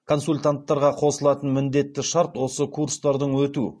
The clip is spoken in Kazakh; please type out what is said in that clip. консультанттарға қосылатын міндетті шарт осы курстардан өту